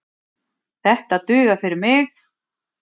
Þetta dugar fyrir mig